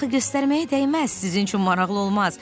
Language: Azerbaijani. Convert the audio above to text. Axı göstərməyə dəyməz, sizin üçün maraqlı olmaz.